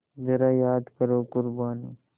ज़रा याद करो क़ुरबानी